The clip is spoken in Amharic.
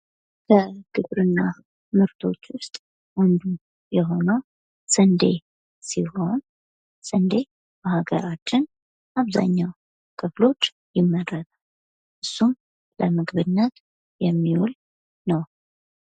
ከግብርና ምርቶች ዉስጥ አንዱ የሆነው ስንዴ ሲሆን ስንዴ በሃገራችን አብዛኛው ክፍሎች ይመረታል። እሱም ለምግብነት የሚዉል ነው።